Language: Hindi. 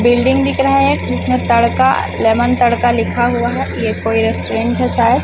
बिल्डिंग दिख रहा हैं एक इसमें तड़का लेमन तड़का लिखा हवा हैं ये। कोई रेस्टोरेंट हैं शायद।